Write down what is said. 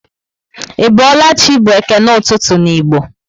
i boola chị by ekene ụtụtụ n'igbo